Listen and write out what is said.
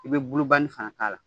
I bɛ san k'a k'a la.